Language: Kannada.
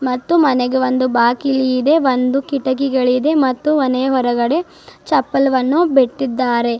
ಮತ್ತು ಮನೆಗೆ ಒಂದು ಬಾಕಿಲಿ ಇದೆ ಒಂದು ಕಿಟಕಿಗಳಿದೆ ಮತ್ತು ಮನೆಯ ಹೊರಗಡೆ ಚಪ್ಪಲ್ವನ್ನು ಬಿಟ್ಟಿದ್ದಾರೆ.